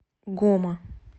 гома